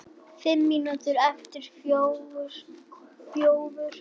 Fimm mínútur yfir fjögur.